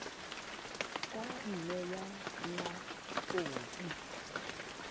ka nne ya nna khopi